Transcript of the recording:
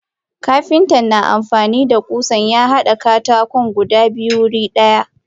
Kapinta na amfanida kusa yahada katakon guda biyu wuri daya.